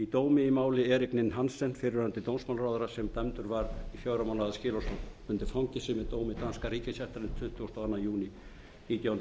dómi í máli árið ninn hann fyrrverandi dómsmálaráðherra sem dæmdur var í fjögra mánaða skilorðsbundið fangelsi með dómi danska ríkisréttarins tuttugasta og öðrum júní nítján